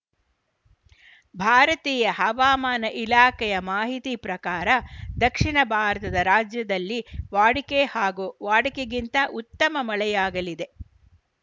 ಭಾರತೀಯ ಹವಾಮಾನ ಇಲಾಖೆಯ ಮಾಹಿತಿ ಪ್ರಕಾರ ದಕ್ಷಿಣ ಭಾರತದ ರಾಜ್ಯದಲ್ಲಿ ವಾಡಿಕೆ ಹಾಗೂ ವಾಡಿಕೆಗಿಂತ ಉತ್ತಮ ಮಳೆಯಾಗಲಿದೆ